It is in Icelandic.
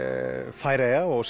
Færeyja og